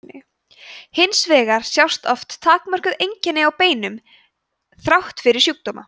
hins vegar sjást oft takmörkuð einkenni á beinum þrátt fyrir sjúkdóma